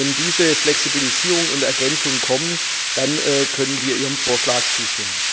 Wenn diese Flexibilisierung und diese Ergänzungen kommen, dann können wir Ihrem Vorschlag zustimmen.